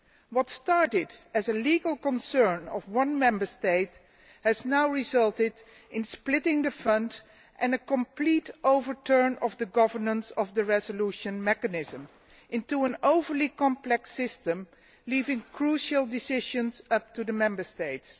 What started as a legal concern of one Member State has now resulted in splitting the fund and in a complete overturn of the governance of the Resolution Mechanism into an overly complex system, leaving crucial decisions up to the Member States.